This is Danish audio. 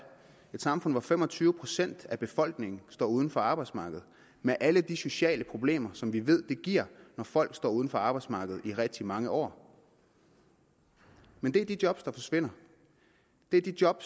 et samfund i hvilket fem og tyve procent af befolkningen står uden for arbejdsmarkedet med alle de sociale problemer som vi ved det giver når folk står uden for arbejdsmarkedet i rigtig mange år men det er de job der forsvinder det er de job